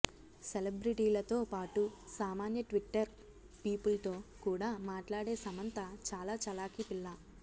celebrity లతో పాటు సామాన్య ట్విట్టర్ పీపుల్ తో కూడా మాట్లాడే సమంత చాలా చలాకీ పిల్ల